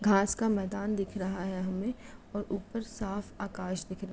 घास का मैदान दिख रहा है हमें और ऊपर साफ आकाश दिख रहा है|